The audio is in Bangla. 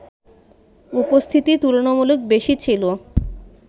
উপস্থিতি তুলনামূলক বেশি ছিল